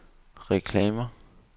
reklamer